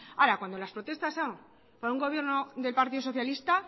ahora cuando las protestas son para un gobierno del partido socialista